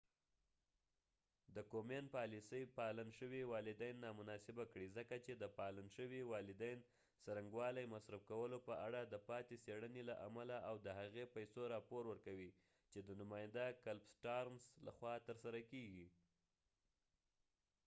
د کومین پالیسي پالن شوې والدین نامناسبه کړې ځکه چې د پالن شوي والدین څرنګوالي مصرف کولو په اړه د پاتې څیړنې له امله اؤ د هغې پیسو راپور ورکوي چې د نماینده کلف سټارنس لخوا ترسره کیږي